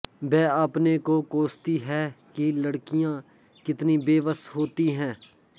वह अपने को कोसती है कि लड़कियाँ कितनी बेबस होती है